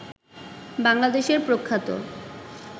বাংলাদেশের প্রখ্যাত